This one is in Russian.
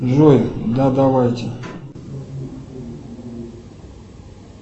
джой да давайте